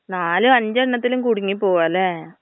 നാലും അഞ്ചെണ്ണത്തിലും കുടുങ്ങി പോവുഅല്ലെ.